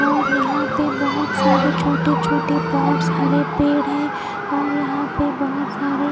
और यहा पे बहोत सारे छोटे छोटे पॉट्स और हरे पेड़ है और यहा पे बहोत सारे--